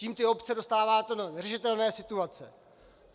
Tím ty obce dostáváte do neřešitelné situace.